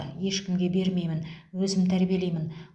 ешкімге бермеймін өзім тәрбиелеймін